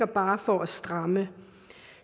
bare for at stramme